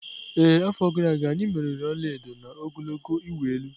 Ee, n'afọ gara aga, anyị meriri ọla edo na ogologo ịwụ elu.